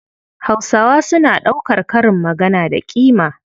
Hausawa suna ɗaukar karin magana da ƙima.